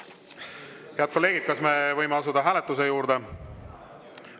Head kolleegid, kas me võime asuda hääletuse juurde?